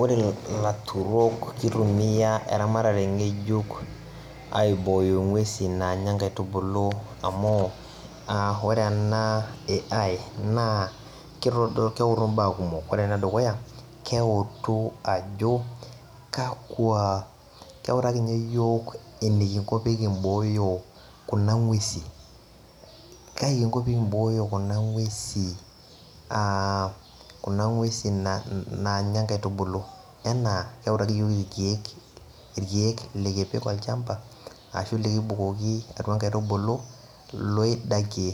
ore ilaturok keitumia eramatare ng`ejuk aiboyo ingwesin naanya inkaitubulu amuu ore ena AI naa keutu imbaa kumok ore enedukuya keutu ajo kakua keutaki tii ninye iyok enikinko pee kimbooyo kuna ngwesin kaii kinko pee kimbooyo kuna ngwesin aa kuna ngwesin naanya inkaitubulu enaa keutarioki irkiek lekipik olchampa aashu ilikibukoki atua inkaitubulu noildakie